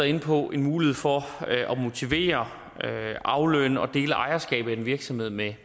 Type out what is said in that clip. inde på en mulighed for at motivere aflønne og dele ejerskabet af en virksomhed med